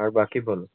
আর বাকি বলো।